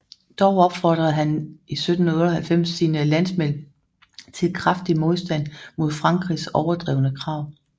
Dog opfordrede han 1798 sine landsmænd til kraftig modstand mod Frankrigs overdrevne krav